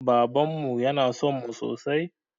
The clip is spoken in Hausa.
Babanmu yana sonmu sosai